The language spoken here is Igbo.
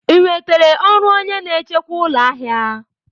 Ị nwetara ọrụ onye na-echekwa ụlọ ahịa?